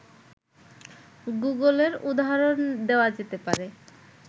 গুগলের উদাহরণ দেওয়া যেতে পারে